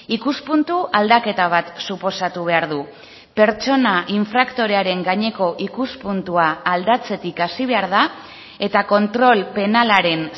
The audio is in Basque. ikuspuntu aldaketa bat suposatu behar du pertsona infraktorearen gaineko ikuspuntua aldatzetik hasi behar da eta kontrol penalaren